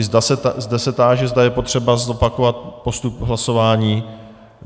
I zde se táži, zda je potřeba zopakovat postup hlasování.